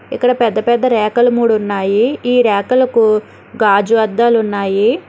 ఇక్కడ పెద్ద పెద్ద ర్యాకలు మూడు ఉన్నాయి ఈ ర్యాకలకు గాజు అద్దాలు ఉన్నాయి.